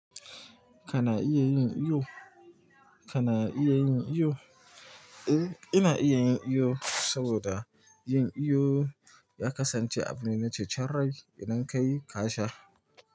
Kana iya yin iyo? Kana iya yin iyo? Eh, ina iya yin iyo saboda yin iyo ya kasance abu ne na cecanrai idan ka yi kasha.